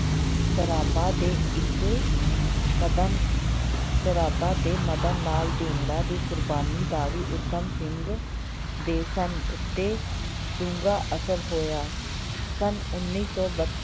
ਸਰਾਭਾ ਦੇ ਇੱਕ ਮਦਨ ਸਰਾਭਾ ਤੇ ਮਦਨ ਲਾਲ ਢੀਂਗੜਾ ਦੀ ਕੁਰਬਾਨੀ ਦਾ ਵੀ ਊਧਮ ਸਿੰਘ ਦੇ ਸਨ ਉੱਤੇ ਡੂੰਘਾ ਅਸਰ ਹੋਇ ਸੰਨ ਉੱਨੀ ਸੌ ਬ~